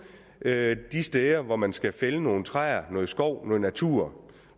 med de steder hvor man skal fælde nogle træer noget skov noget natur